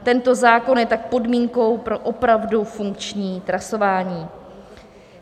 Tento zákon je tak podmínkou pro opravdu funkční trasování.